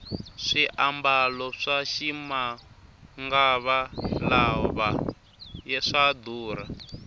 swiambalo swa ximangava lawa swa durha